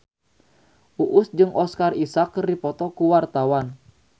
Uus jeung Oscar Isaac keur dipoto ku wartawan